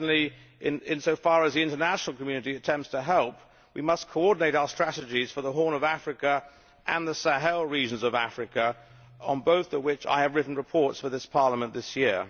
Certainly, insofar as the international community attempts to help, we must coordinate our strategies for the Horn of Africa and the Sahel regions of Africa, on both of which I have written reports for this Parliament this year.